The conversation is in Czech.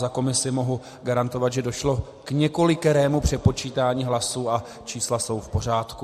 Za komisi mohu garantovat, že došlo k několikerému přepočítání hlasů a čísla jsou v pořádku.